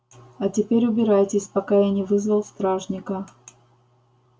а теперь убирайтесь пока я не вызвал стражника